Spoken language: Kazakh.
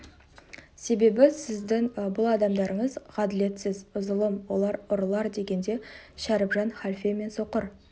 себебі сіздің бұл адамдарыңыз ғаділетсіз зұлым олар ұрылар дегенде шәріпжан халфе мен соқыр